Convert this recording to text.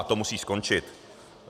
A to musí skončit.